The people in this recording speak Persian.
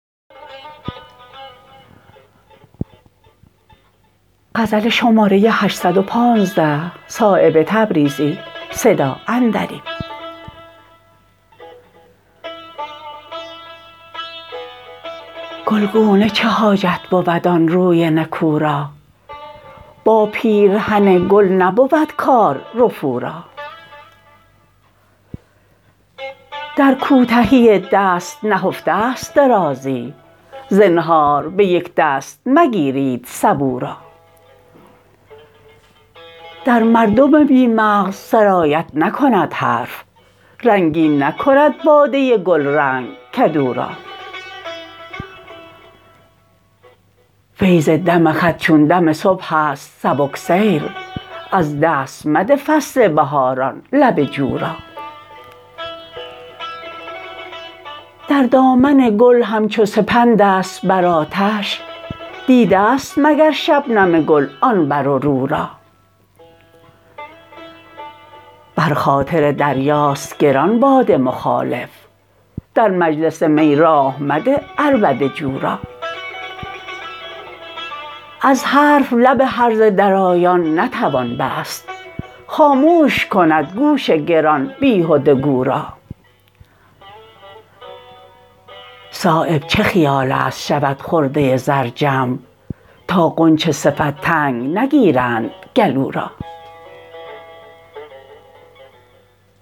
گلگونه چه حاجت بود آن روی نکو را با پیرهن گل نبود کار رفو را در کوتهی دست نهفته است درازی زنهار به یک دست مگیرید سبو را در مردم بی مغز سرایت نکند حرف رنگین نکند باده گلرنگ کدو را فیض دم خط چون دم صبح است سبکسیر از دست مده فصل بهاران لب جو را در دامن گل همچو سپندست بر آتش دیده است مگر شبنم گل آن بر رو را بر خاطر دریاست گران باد مخالف در مجلس می راه مده عربده جو را از حرف لب هرزه درایان نتوان بست خاموش کند گوش گران بیهده گو را صایب چه خیال است شود خرده زر جمع تا غنچه صفت تنگ نگیرند گلو را